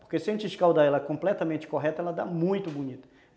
Porque se a gente escaldar ela completamente correta, ela dá muito bonita.